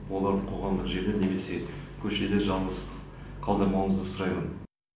оларды қоғамдық жерде немесе көшеде жалғыз қалдырмауыңызды сұраймын